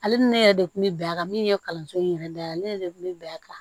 Ale ni ne yɛrɛ de kun bɛ bɛn a kan min ye kalanso in yɛrɛ da la ale yɛrɛ de kun bɛ bɛn a kan